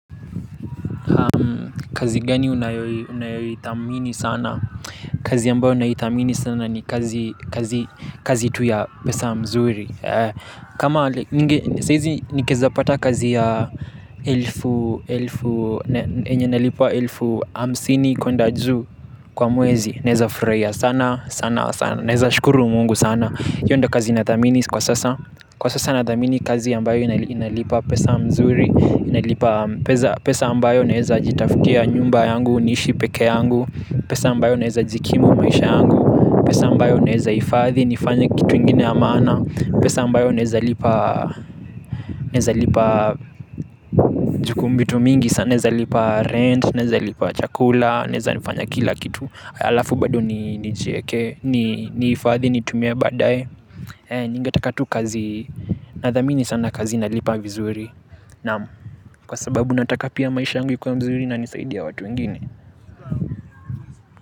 Kazi gani unayoithamini sana? Kazi ambayo naithamini sana ni kazi tu ya pesa mzuri. Kama nge, saizi nikeza pata kazi ya elfu, elfu, enye nalipa elfu amsini kunda juu kwa mwezi. Naweza furahia sana sana sana sana. Naweza shukuru mungu sana hiyonda kazi na thamini kwa sasa. Kwa sasa na thamini kazi ambayo inalipa pesa nzuri. Pesa ambayo naeza jitafutia nyumba yangu, nishi peke yangu. Pesa ambayo naeza jikimu maisha yangu. Pesa ambayo naeza ifadhi, nifanya kitu ingine amana. Pesa ambayo naeza lipa juu kuna vitu mingi. Sana neza lipa rent, naweza lipa chakula, naweza nifanya kila kitu. Alafu bado ni ifadhi, ni tumie badai. Ningetaka tu kazi, nadhami ni sana kazi nalipa vizuri. Naam kwa sababu nataka pia maisha angu ikuwe mzuri na nisaidie watu ingine.